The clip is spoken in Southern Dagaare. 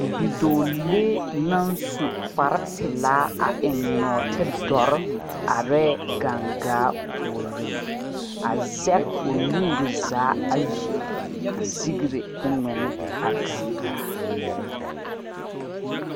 Bidoɔlee nang su kpare pelaa a eng noɔti dɔri arẽ gangaa pouring a zeg ɔ nuuri zaa ayi a segree kuo mgnne a gangaa.